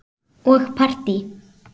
Og partí.